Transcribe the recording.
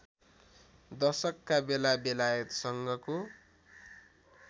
दशकका बेला बेलायतसँगको